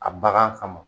A bagan kama